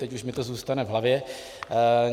Teď už mi to zůstane v hlavě.